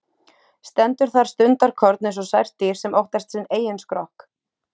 Stendur þar stundarkorn einsog sært dýr sem óttast sinn eigin skrokk.